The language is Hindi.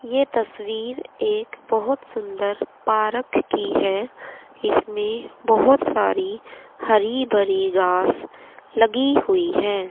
ये तस्वीर एक बहोत सुंदर पारक की है इसमें बहोत सारी हरी भरी घास लगी हुई है।